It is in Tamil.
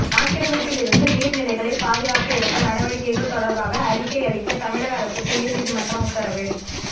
ஆக்கிரமிப்பிலிருந்து நீர்நிலைகளை பாதுகாக்க எடுத்த நடவடிக்கைகள் தொடர்பாக அறிக்கை அளிக்க தமிழக அரசுக்கு உயர்நீதிமன்றம் உத்தரவு